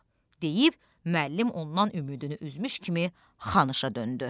deyib müəllim ondan ümidini üzmüş kimi Xanısha döndü.